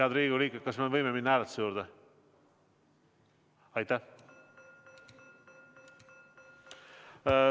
Head Riigikogu liikmed, kas me võime minna hääletuse juurde?